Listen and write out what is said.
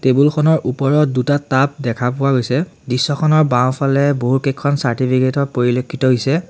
খনৰ ওপৰত দুটা টাব দেখা পোৱা গৈছে দৃশ্যখনৰ বাওঁফালে বহুকেইখন চাৰ্টিফিকেট ৰ পৰিলেক্ষিত হৈছে।